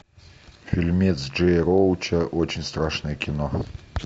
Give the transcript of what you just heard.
фильмец джея роуча очень страшное кино